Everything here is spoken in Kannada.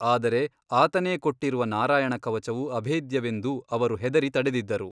ಆದರೆ ಆತನೇ ಕೊಟ್ಟಿರುವ ನಾರಾಯಣ ಕವಚವು ಅಭೇದ್ಯವೆಂದು ಅವರು ಹೆದರಿ ತಡೆದಿದ್ದರು.